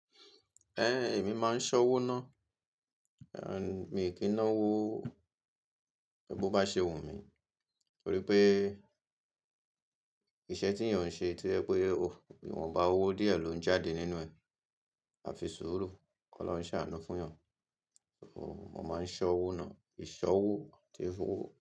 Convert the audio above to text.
Ẹn, èmi máa ń ṣọ́wó ná. Mi ò kí n ná owó bí ó bá ṣe wù mí torí pé iṣẹ́ tí ènìyàn ń ṣe ti o jẹ́ pé, ìwọnba owó díẹ̀ ló ń jáde nínú ẹ̀, a fi sùúrù k'ọlọrun ṣàánú fún ènìyàn. Mo máa ń ṣọ́wó ná, ìṣọ́wó tí ìfowó.